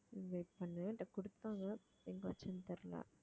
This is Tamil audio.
wait பண்ணு என்கிட்ட கொடுத்தாங்க எங்கே வைச்சேன்னு தெரியலே